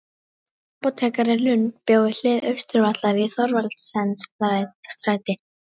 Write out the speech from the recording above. Apótekari Lund bjó við hlið Austurvallar í Thorvaldsensstræti